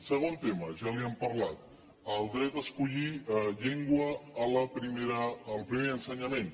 segon tema ja li n’hem parlat el dret a escollir llengua al primer ensenyament